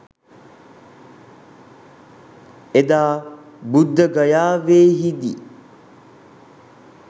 එදා බුද්ධගයාවෙහිදී